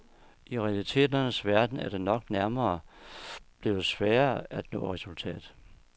I realiteternes verden er det nok nærmere blevet sværere at nå et resultat.